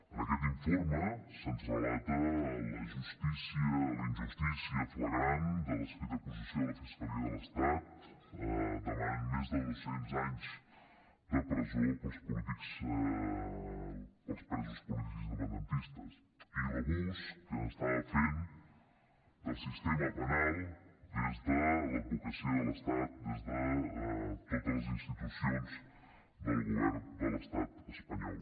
en aquest informe se’ns relata la injustícia flagrant de l’escrit d’acusació de la fiscalia de l’estat que demana més de dos cents anys de presó per als presos polítics independentistes i l’abús que s’estava fent del sistema penal des de l’advocacia de l’estat des de totes les institucions del govern de l’estat espanyol